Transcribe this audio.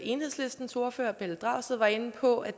enhedslistens ordfører herre pelle dragsted var inde på at